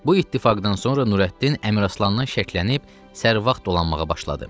Bu ittifaqdan sonra Nurəddin Əmiraslandan şəklənib sərvat dolanmağa başladı.